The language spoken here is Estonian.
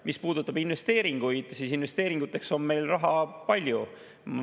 Mis puudutab investeeringuid, siis investeeringuteks on meil raha palju.